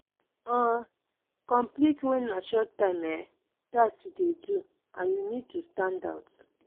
um compete when na short term um task you dey do and you need to stand out